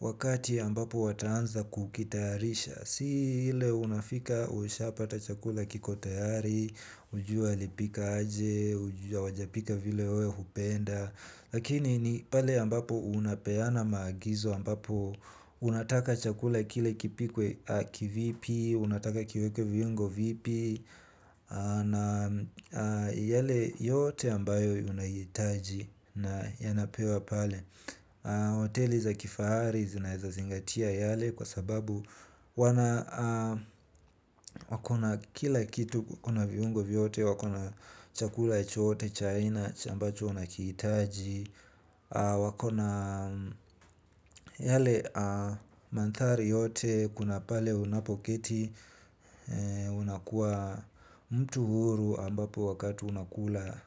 wakati ambapo wataanza kukitayarisha. Si ile unafika ushapata chakula kiko tayari, hujui alipika aje, hujui hawajapika vile wewe hupenda. Lakini ni pale ambapo unapeana maagizo ambapo unataka chakula kile kipikwe kivipi, unataka kiwekwe viungo vipi. Na yale yote ambayo unahitaji na yanapewa pale hoteli za kifahari zinaezazingatia yale kwa sababu wana wako na kila kitu kuna viungo vyote. Wako na chakula chote cha aina cha ambacho unakihitaji. Wako na yale manthari yote kuna pale unapoketi. Unakuwa mtu huru ambapo wakatu unakula.